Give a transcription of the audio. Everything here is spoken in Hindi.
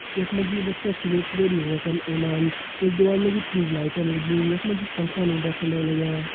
यखमां जी यु बच्चा सुबेर-सुबेर हवा कन ओदन एक दिवार मां जी ट्यूब लाइटन लगीं यख मां जी पंखा उंडे-फुंडे लग्यां।